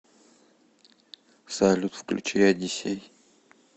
салют включи одиссей